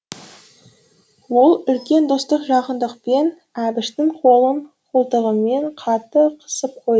ол үлкен достық жақындықпен әбіштің қолын қолтығымен қатты қысып қойды